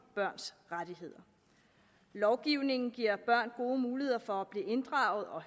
børns rettigheder lovgivningen giver børn gode muligheder for at blive inddraget og